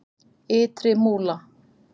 Ytri Múla